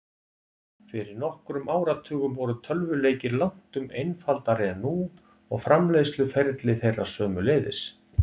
Fyrir nokkrum áratugum voru tölvuleikir langtum einfaldari en nú, og framleiðsluferli þeirra sömuleiðis.